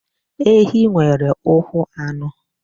Ehi nwere ụkwụ anọ.